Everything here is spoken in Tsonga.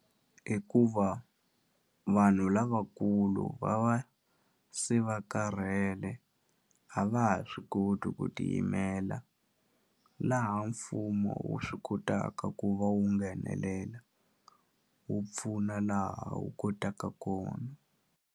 Hikuva vanhu lavakulu va va se va karhele a va ha swi koti ku tiyimela laha mfumo wu swi kotaka ku va wu nghenelela wu pfuna laha wu kotaka kona.